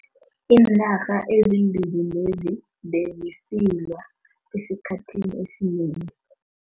Iinarha ezimbili lezi bezisilwa esikhathini esinengi.